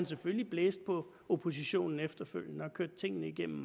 selvfølgelig blæste på oppositionen efterfølgende og kørte tingene igennem